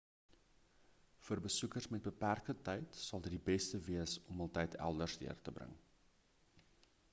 vir besoekers met beperkte tyd sal dit die beste wees om hul tyd elders deur te bring